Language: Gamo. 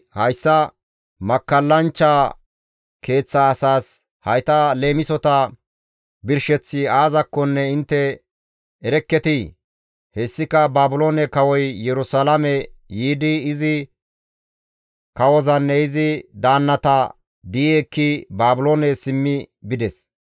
«Hayssa makkallanchcha keeththa asaas, ‹Hayta leemisota birsheththi aazakkonne intte erekketii?› Hessika Baabiloone kawoy Yerusalaame yiidi izi kawozanne izi daannata di7i ekki Baabiloone simmi bides.